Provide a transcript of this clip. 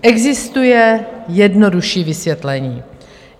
Existuje jednodušší vysvětlení.